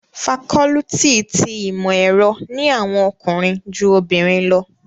Fakọluti ti Imọ-ẹrọ ni awọn ọkunrin ju obinrin lọ